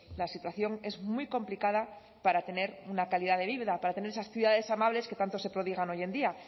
la situación es muy complicada para tener una calidad de vida para tener esas ciudades amables que tanto se prodigan hoy en día